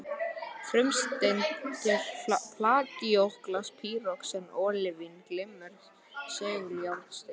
Frumsteindir plagíóklas, pýroxen, ólívín, glimmer seguljárnsteinn